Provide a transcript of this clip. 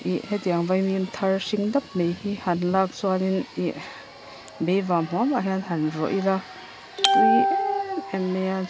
hetiang vaimim thar hring dap mai hi han lak chuanin ih beivam huam ah hian han rawlh ila a tui em em a.